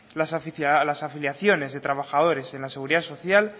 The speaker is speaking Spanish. las afiliaciones de trabajadores en la seguridad social